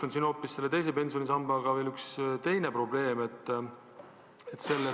Samas on teise pensionsambaga seotud ka üks teine probleem.